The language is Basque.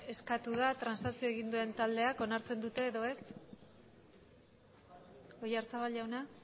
eskatu da transakzioa egin duen taldeek onartzen dute oyarzabal jauna